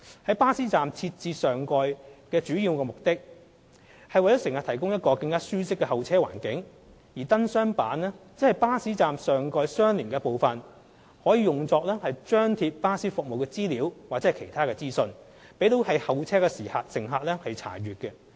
在巴士站設置上蓋的主要目的是為乘客提供一個更舒適的候車環境，而燈箱板則是巴士站上蓋的相連部分，可用作張貼巴士服務資料或其他資訊，供候車乘客查閱。